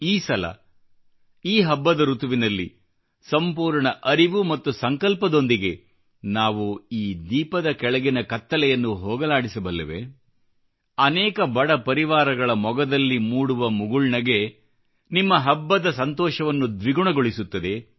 ಈ ಸಲ ಈ ಹಬ್ಬದ ಋತುವಿನಲ್ಲಿ ಸಂಪೂರ್ಣ ಅರಿವು ಮತ್ತು ಸಂಕಲ್ಪದೊಂದಿಗೆ ನಾವು ಈ ದೀಪದ ಕೆಳಗಿನ ಕತ್ತಲೆಯನ್ನು ಹೋಗಲಾಡಿಸಬಲ್ಲೆವೆ ಅನೇಕ ಬಡ ಪರಿವಾರಗಳ ಮೊಗದಲ್ಲಿ ಮೂಡುವ ಮುಗುಳ್ನಗೆ ನಿಮ್ಮ ಹಬ್ಬದ ಸಂತೋಷವನ್ನು ದ್ವಿಗುಣಗೊಳಿಸುತ್ತದೆ